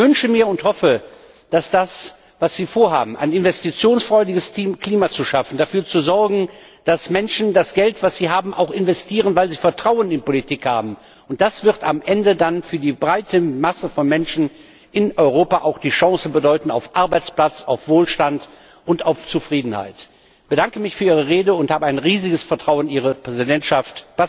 Ich wünsche mir und hoffe, dass das, was Sie vorhaben ein investitionsfreundliches Klima zu schaffen, dafür zu sorgen, dass Menschen das Geld, das sie haben, auch investieren, weil sie Vertrauen in Politik haben am Ende dann für die breite Masse von Menschen in Europa auch die Chance bedeuten wird auf Arbeitsplatz, auf Wohlstand und auf Zufriedenheit. Ich bedanke mich für Ihre Rede und habe ein riesiges Vertrauen in Ihre Präsidentschaft.